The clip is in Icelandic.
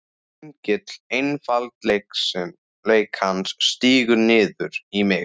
Engill einfaldleikans stígur niður í mig.